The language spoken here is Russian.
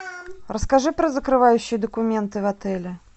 расскажи про закрывающие документы в отеле